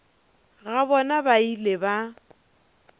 ga bona ba ile ba